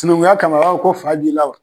Sinankunya kama a b'a fɔ ko fa bi la wa?